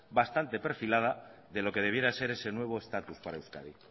bastante perfilada de lo que debiera ser ese nuevo estatus para euskadi